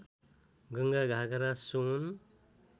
Ganga Ghaghara Son